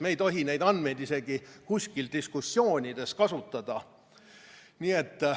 Me ei tohi neid andmeid isegi kuskil diskussioonides kasutada.